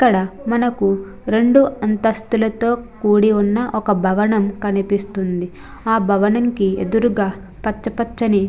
ఇక్కడ మనకి రెండు అంతస్థులతో కూడిన ఒక భవనం కనిపిస్తుంది. ఆ భవాని కి ఎదురుంగ పచ్చ పచ్చని --